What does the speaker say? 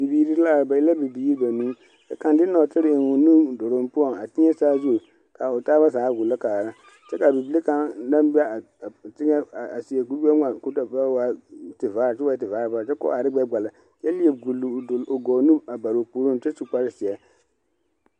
Bibiiri la ba e la bibiiri banuu ka kaŋ de nɔɔtere eŋ o nuduluŋ poɔŋ a teɛ saazu ka o taaba zaa gbola kaara kyɛ ka a bibile kaŋa naŋ be a teŋɛ a seɛ kuri gbɛŋmaa k'o da waa tevaare kyɛ o ba waa tevaare baare kyɛ ka o are ne gbɛkpala kyɛ leɛ gboli o gɔɔ nu a bare o puoriŋ kyɛ su kpare zeɛ.